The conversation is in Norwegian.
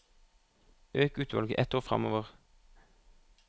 Øk utvalget ett ord framover